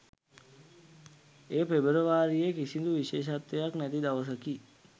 එය පෙබරවාරියේ කිසිදු විශේෂත්වයක් නැති දවසකි